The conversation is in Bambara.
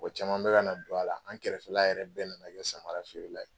Mɔgɔ caman bɛ kana don a la. An kɛrɛfɛla yɛrɛ bɛɛ nana kɛ samara feerela ye.